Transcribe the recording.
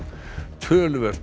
töluvert